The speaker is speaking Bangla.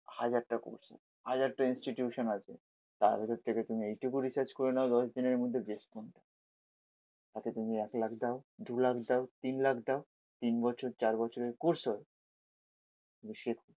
হাজারটা কোর্স আছে, হাজারটা ইনস্টিটিউশন আছে তাদের কাছ থেকে তুমি এইটুকু রিসার্চ করে নাও দশজনের মধ্যে বেস্ট কোনটা। তাকে তুমি এক লাখ দাও দু লাখ দাও তিন লাখ দাও তিন বছর চার বছরের কোর্স হবে। তুমি শেখো